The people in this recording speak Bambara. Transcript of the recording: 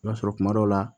I b'a sɔrɔ kuma dɔ la